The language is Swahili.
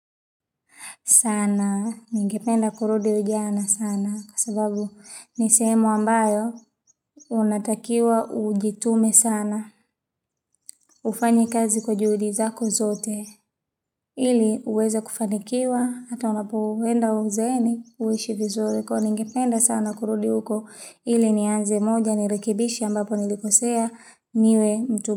Sana, ningependa kurudi ujana sana, kwa sababu ni sehemu ambayo, unatakiwa ujitume sana, ufanye kazi kwa juhudi zako zote, ili uweze kufanikiwa, hata unapoenda uzeeni, uishi vizuri, kwani ningependa sana kurudi huko, ili nianze moja, nirekebishe ambapo nilikosea, niwe mtu.